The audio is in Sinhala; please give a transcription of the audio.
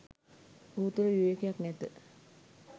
ඔහු තුළ විවේකයක් නැත